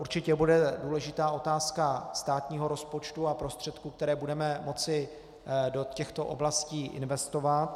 Určitě bude důležitá otázka státního rozpočtu a prostředků, které budeme moci do těchto oblastí investovat.